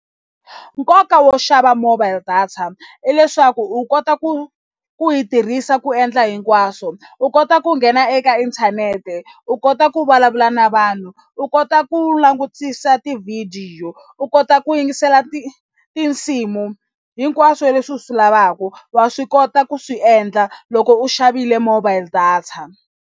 Nkoka wo xava mobile data i leswaku u kota ku ku yi tirhisa ku endla hinkwaswo u kota ku nghena eka inthanete u kota ku vulavula na vanhu u ku kota ku langutisa tivhidiyo u kota ku yingisela ti tinsimu hinkwaswo leswi u swi lavaku wa swi kota ku swi endla loko u xavile mobile data.